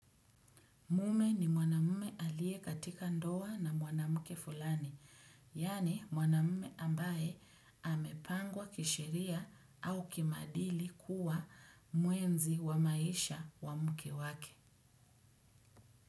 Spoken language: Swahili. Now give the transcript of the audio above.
Mume ni mwanamume aliye katika ndoa na mwanamke fulani, yaani mwanamume ambaye amepangwa kisheria au kimaadili kuwa mwenzi wa maisha wa mke wake.